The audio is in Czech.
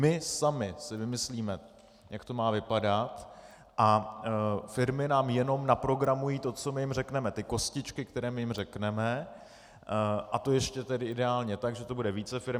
My sami si vymyslíme, jak to má vypadat, a firmy nám jenom naprogramují to, co my jim řekneme, ty kostičky, které my jim řekneme, a to ještě tedy ideálně tak, že to bude více firem.